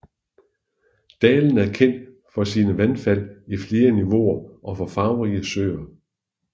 Dalen er kendt for sine vandfald i flere niveauer og farverige søer